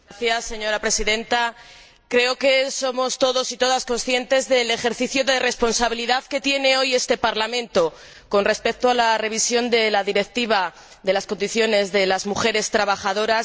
Señora Presidenta, creo que somos todos y todas conscientes del ejercicio de responsabilidad que tiene que hacer hoy este Parlamento, con respecto a la revisión de la Directiva sobre las condiciones de las mujeres trabajadoras